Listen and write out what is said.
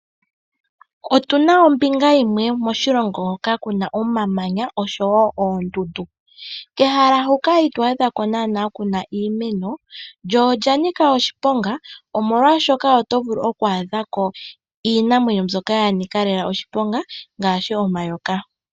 Ombinga yimwe yoshilongo oyina oondundu, kehala hoka kakuna nanaa iimeno, koo okuna iinamwenyo mbyoka nanika oshiponga ngaashi nomayoka.